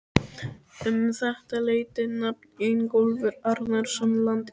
Um þetta leyti nam Ingólfur Arnarson land í